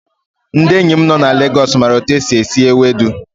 Ndị enyi m na Legos maara otu esi esi Ewedu.